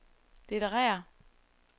litterære